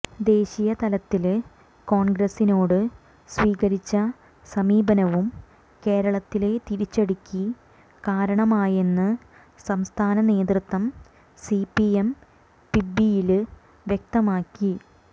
ദേശീയ തലത്തില് കോണ്ഗ്രസിനോട് സ്വീകരിച്ച സമീപനവും കേരളത്തിലെ തിരിച്ചടിക്ക് കാരണമായെന്ന് സംസ്ഥാന നേതൃത്വം സിപിഎം പിബിയില് വ്യക്തമാക്കി